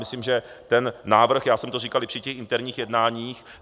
Myslím, že ten návrh - já jsem to říkal i při těch interních jednáních.